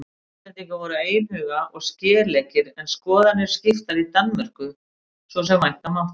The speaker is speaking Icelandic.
Íslendingar voru einhuga og skeleggir en skoðanir skiptar í Danmörku svo sem vænta mátti.